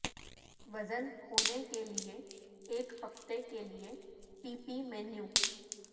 وزن کھونے کے لئے ایک ہفتے کے لئے پی پی مینو